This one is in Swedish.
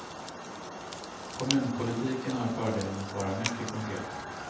Kommunpolitiken har fördelen att vara mycket konkret.